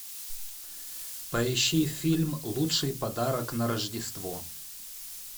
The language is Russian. поищи фильм лучший подарок на рождество